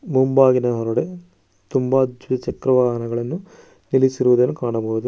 ಮುಂಭಾಗಿಲಿನ ಹೊರಗಡೆ ತುಂಬ ದ್ವಿಚಕ್ರ ವಾಹನಗಳನ್ನು ನಿಲ್ಲಿಸಿರುವುದನ್ನು ಕಾಣಬಹುದು.